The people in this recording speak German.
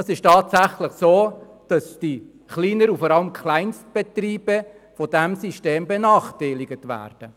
Es ist tatsächlich so, dass die kleinen und vor allem die Kleinstbetriebe von diesem System benachteiligt werden.